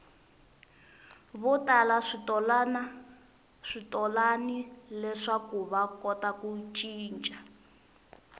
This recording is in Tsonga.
votala switolani leswakuva kota ku cica